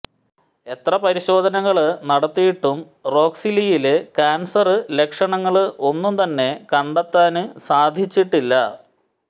എത്ര പരിശോധനകള് നടത്തിയിട്ടും റോക്സിലിയില് കാന്സര് ലക്ഷണങ്ങള് ഒന്നും തന്നെ കണ്ടെത്താന് സാധിച്ചില്ല